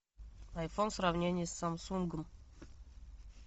айфон сравнение с самсунгом